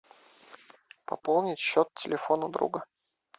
пополнить счет телефона друга